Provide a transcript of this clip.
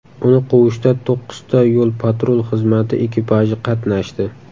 Uni quvishda to‘qqizta yo‘l-patrul xizmati ekipaji qatnashdi.